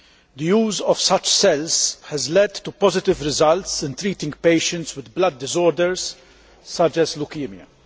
The use of such cells has led to positive results in treating patients with blood disorders such as leukaemia.